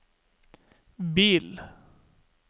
bil